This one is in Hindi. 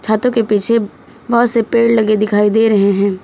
छातों के पीछे बहुत से पेड़ लगे दिखाई दे रहे हैं।